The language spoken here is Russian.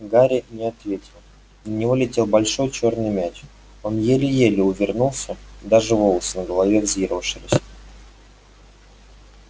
гарри не ответил на него летел большой чёрный мяч он еле-еле увернулся даже волосы на голове взъерошились